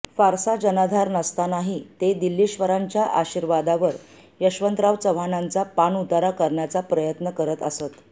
फारसा जनाधार नसतानाही ते दिल्लीश्वरांच्या आशीर्वादावर यशवंतराव चव्हाणांचा पाणउतारा करण्याचा प्रयत्न करत असत